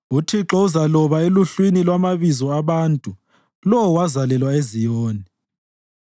UThixo uzaloba eluhlwini lwamabizo abantu: “Lo wazalelwa eZiyoni.”